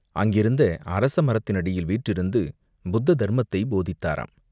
அங்கிருந்த அரசமரத்தினடியில் வீற்றிருந்து புத்த தர்மத்தைப் போதித்தாரம்.